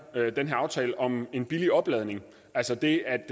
aftale om en billig opladning altså det at